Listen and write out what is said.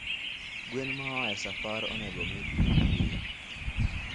Gwen moaesafar onego omii pii piyo